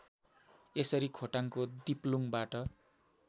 यसरी खोटाङको दिप्लुङबाट